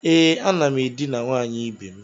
E, a nam edina nwanyi ibe'm.